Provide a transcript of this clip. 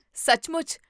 ਸੱਚਮੁੱਚ!?